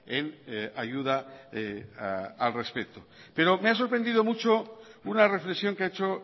en ayuda al respecto pero me ha sorprendido mucho una reflexión que ha hecho